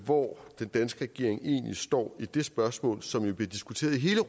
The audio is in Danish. hvor den danske regering egentlig står i det spørgsmål som jo bliver diskuteret i hele